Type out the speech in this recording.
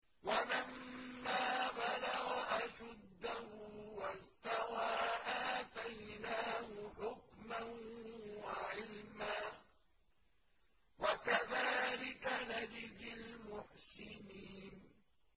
وَلَمَّا بَلَغَ أَشُدَّهُ وَاسْتَوَىٰ آتَيْنَاهُ حُكْمًا وَعِلْمًا ۚ وَكَذَٰلِكَ نَجْزِي الْمُحْسِنِينَ